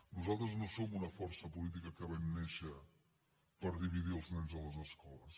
nosaltres no som una força política que vam néixer per dividir els nens a les escoles